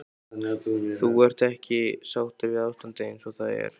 Þú ert ekki sáttur við ástandið eins og það er?